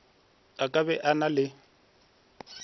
a ka be a na